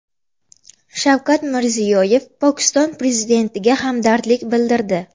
Shavkat Mirziyoyev Pokiston prezidentiga hamdardlik bildirdi.